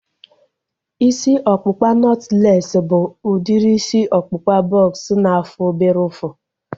Isi ọkpụkpa nọtlees bụ udiri isi ọkpụkpa bọks na-afụ obere ụfụ